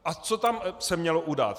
A co se tam mělo udát?